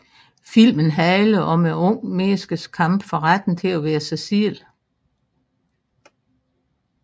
Filmen handler om et ungt menneskes kamp for retten til at være sig selv